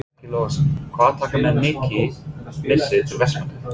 Breki Logason: Hvað taka menn mikið með sér til Vestmannaeyja?